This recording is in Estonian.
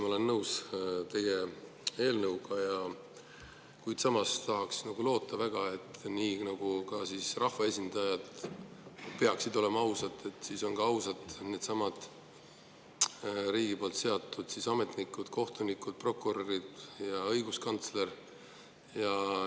Ma olen kindlasti nõus teie eelnõuga, kuid samas tahaks väga loota, et nii nagu rahvaesindajad peaksid olema ausad, on ka ausad needsamad riigi poolt seatud ametnikud, kohtunikud, prokurörid ja õiguskantsler.